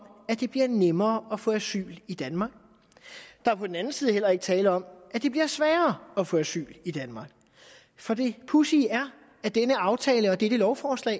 at det bliver nemmere at få asyl i danmark der er på den anden side heller ikke tale om at det bliver sværere at få asyl i danmark for det pudsige er at denne aftale og dette lovforslag